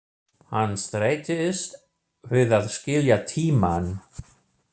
Hann streitist við að skilja tímann.